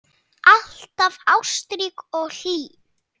Alltaf ástrík og hlý.